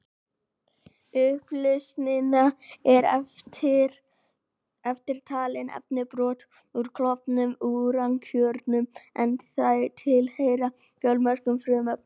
Í upplausninni eru eftirtalin efni: Brot úr klofnum úrankjörnum, en þau tilheyra fjölmörgum frumefnum.